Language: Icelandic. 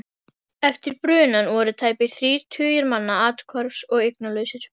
Eftir brunann voru tæpir þrír tugir manna athvarfs- og eignalausir.